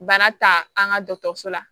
Bana ta an ka dɔgɔtɔrɔso la